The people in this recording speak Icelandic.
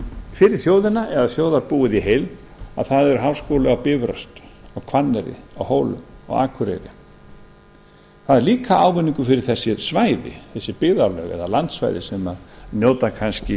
fyrir þjóðina eða þjóðarbúið í heild að það er háskóli á bifröst á hvanneyri á hólum og akureyri það er líka ávinningur fyrir þessi svæði þessi byggðarlög eða landsvæði sem njóta kannski